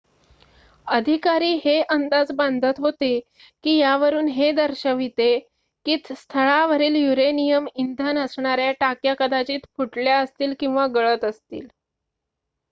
अधिकारी हे अंदाज बांधत होते की यावरून हे दर्शवते की स्थळावरील युरेनियम इंधन असणाऱ्या टाक्या कदाचित फुटल्या असतील किंवा गळत असतील